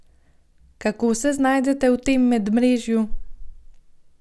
Kako se znajdete v tem medmrežju?